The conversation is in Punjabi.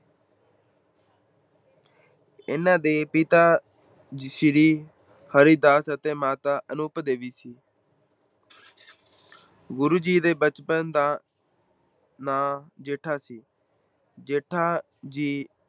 ਇਹਨਾਂ ਦੇ ਪਿਤਾ ਸ੍ਰੀ ਹਰਿਦਾਸ ਅਤੇ ਮਾਤਾ ਅਨੂਪ ਦੇਵੀ ਸੀ ਗੁਰੂ ਜੀ ਦੇ ਬਚਪਨ ਦਾ ਨਾਂ ਜੇਠਾ ਸੀ। ਜੇਠਾ ਜੀ